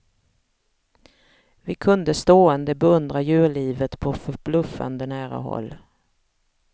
Vi kunde stående beundra djurlivet på förbluffande nära håll.